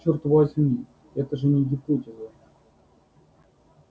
чёрт возьми это же не гипотеза